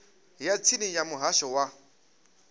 ya tsini ya muhasho wa